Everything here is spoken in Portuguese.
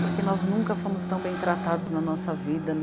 Porque nós nunca fomos tão bem tratados na nossa vida.